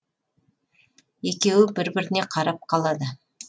екеуі бір біріне қарап қалады